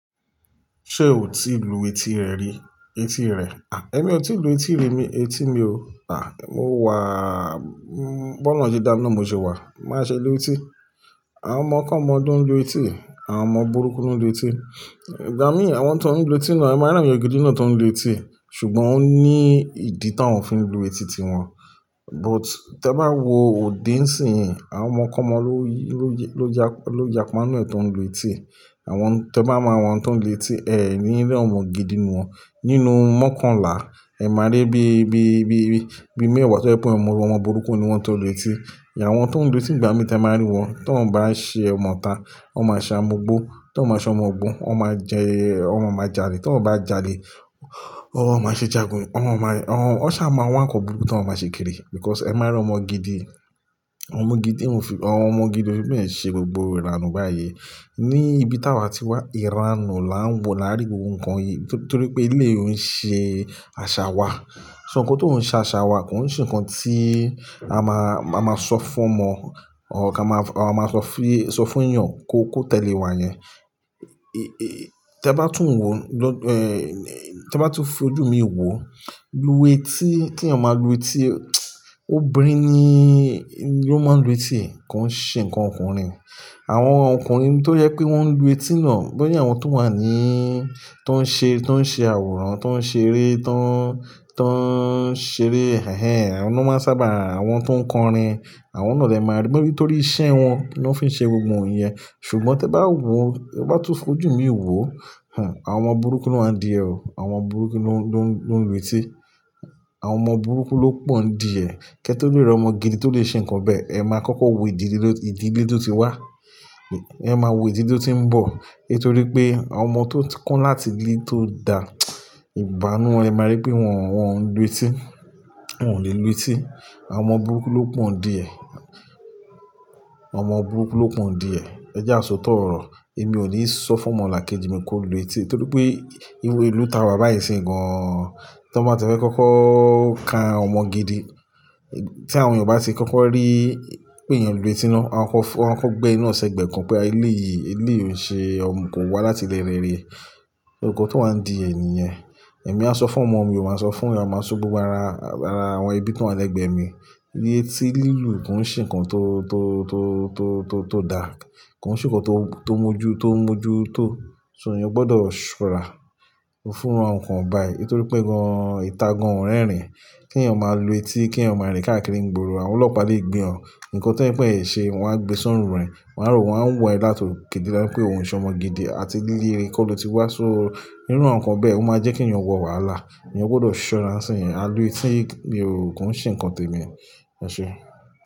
Ṣé o ti lu etí rẹ rí? Etí rẹ̀. À, èmi ò tí ì lu etí rí mi, etí mi o. À, mo wàà, m- bọ́loun se dàmi na n mo ṣe wà. Máa ṣe lu etí. Àwọn ọmọ kọmọ lo ń lu etí, àwọn ọmọ burúkú ń lu etí. Ìgbà mí, àwọn tó ń lu etí náà, ẹ máa rí awon eyan gidi náà tó ń lu etí. Ṣùgbọ́n ó ní ìdí tó ń fi lu etí ti wọn. But tẹ bá wo òde nsin, àwọn ọmọkọmọ ló yi-- ló ya- ló yàpá ninu e tó ń lu etí. Àwọn tẹ bá máa wọn tó ń lu etí, ẹ ì ní rí ọmọ gidi inú wọn. Nínú mọ́kànlá, ẹ máa rí bí, bí, bí, bí, bí mẹ́wàá tó yẹ pé ọmọ, ọmọ burúkú ni wọ́n tó ń lu etí. Àwọn tó ń lu etí ìgbà mi tí ẹ máa rí wọn, tó ń bá ṣe ọmọ ta, wọ́n máa ṣa ọmọ gbó. Tó ń bá ṣe amugbó, wọ́n máa jẹ-- won máa jalè. Tó ń bá jalè, won má ṣe jagun. Wọn máa rí-- won sà máa wá nkan buruku tó ń má ma ṣe kiri. Because ẹ máa rí ọmọ gidi, ọmọ gidi òún fi-- ọmọ gidi ò n fi bẹ́ẹ̀ ṣe gbogbo ìranù báyìí. Ní ibi táa wa ti wà, ìranù là ń wò lárí gbogbo nǹkan yìí. Torí pé eleyi ò ń ṣe àṣà wa. Ṣo ohunkóhun tó ń ṣe àṣà wa kò ń ṣe nǹkan tí a máa, a máa sọ fún ọmọ or ka máa, a máa sọ fún, sọ fún èèyàn kó, kó tẹ̀lé wa yẹn. Ẹ, tẹ bá tún wo, lọ-- tẹ bá tún fi ojú mi wo, lu etí tí èèyàn máa lu etí, óbínrin ni ló máa ń lu etí. Kò ń ṣe nǹkan ọkùnrin. Àwọn ọkùnrin tó jẹ pé wọ́n ń lu etí náà, bóyá àwọn tó wà ní, tó ń ṣe, tó ń ṣe àwòrán, tó ń ṣe eré, tó ń, tó ń ṣe eré hẹhẹ̀, àwọn náà sábà, àwọn tó ń kọrin, àwọn náà lẹ máa rí. Nígbà-- nítorí isẹ́ wọn ló ń fi ṣe gbogbo iyen. Ṣùgbọ́n tẹ bá wo, tẹ bá tún fi ojú mi wo, àwọn ọmọ burúkú ló wań diẹ̀ o. Àwọn ọmọ burúkú ló ń, ló ń lu etí. Àwọn ọmọ burúkú ló pọ̀ ń di ẹ. Kẹ́ tó lè rí ọmọ gidi tó lè ṣe nǹkan bẹ́ẹ̀, ẹ máa kókó wò ìdílé tó, ìdílé tó ti wá. Ẹ máa wò ìdílé tó ti ń bọ̀. Nítorí pé àwọn ọmọ ti won ko láti ílè tó dá ìbánu ẹ máa rí pé wọ́n, wọ́n ń lu etí. Wọn ò lè lu etí. Àwọn ọmọ burúkú ló pọ̀ ń di ẹ. Àwọn ọmọ burúkú ló pọ̀ ń di ẹ. Ẹ jẹ́ àsọtò ọ̀rọ̀. Èmi ò ní sọ fún ọmọlàkejì mi kó lu etí. Nítorí pé iwé ìlú ta wa báyìí nsin gan an. Tọ́ bá ti fẹ́ kó kókó ká ọmọ gidi, tí àwọn èèyàn bá ti kókó rí pé èèyàn lu etí náà, a kọ fọ-- a kọ gbẹ́ eni naa ṣi gbẹ́ kan pé eleyìí, eléyìí òn ṣe ọmọ kò wá láti ilẹ̀ rere. Nkan tó wá ń di ẹ nìyẹn. Ẹ̀mí á sọ fún ọmọ mi, ò má sọ fún, a máa so fun gbogbo ara, ara àwọn ebi ti wọ́n wa lẹ́gbẹ̀ẹ́ mi. Etí lílù kò ń ṣe nǹkan tó, tó, tó, tó, tó, tó dáa. Kò ń ṣe nǹkan tó, tó mọ́jú, tó ń mọ́jú tó. Ṣo èèyàn gbọdọ̀ ṣora fúnru awon nǹkan báyìí? Nítorí pé gan an, ìta gan an ò rẹ́ rìn. Kí èèyàn máa lu etí, kí èèyàn máa rìn káàkiri ìgboro, àwọn ọlọ́pàá lè gbé wọn. Ǹkan tó ń pẹ́ è ṣe, wọ́n á gbé sọ́run rẹ̀. Wọ́n á rò wọ́n á wọ ẹ́ láti òkè dé láti pé òun ṣọmọ gidi. A ti ílé re kó lo ti wá. So fúnran nǹkan bẹ́ẹ̀ ó máa jẹ́ kí èèyàn wọ ààlà. Ẹ̀yàn gbọdọ̀ ṣura ńṣìnyíì. A n lu etí, kò ń ṣe nǹkan tèmi. Ọ̀ṣẹ.